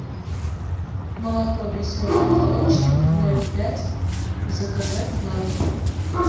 молоко веселый молочник ноль пять заказать на дом